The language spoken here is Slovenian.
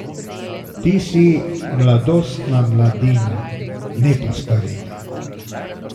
Ti si Mladostna Mladina, ne pa Starina.